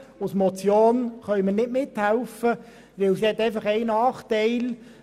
Eine Motion hingegen könnten wir nicht unterstützen, denn der Vorstoss hat einen Nachteil: